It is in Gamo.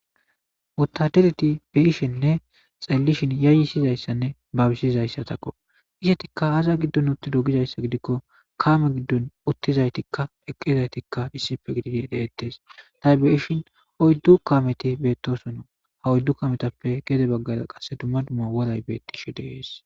Wottadereti xeellishininne be'ishin yayyisazaysatakko. Izettikka aaza giddon uttido gizayssa gidikko kaame giddon uttidayttikka eqqidaytikka issippe gididi de'etes. Tay be'ishin oyddu kaameti beetosona. Oyddu kaametappe gede baggara woray beettishe de'es.